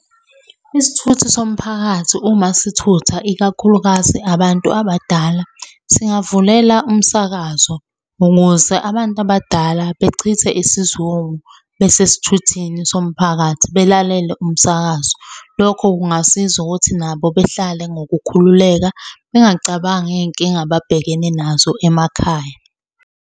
Isithuthi somphakathi uma sithutha ikakhulukazi abantu abadala, singavulela umsakazo ukuze abantu abadala bechithe isizungu besesithuthini somphakathi belalele umsakazo. Lokho kungasiza ukuthi nabo behlale ngokukhululeka bengacabangi iy'nkinga ababhekene nazo emakhaya.